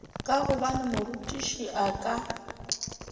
ka gobane morutiši a ka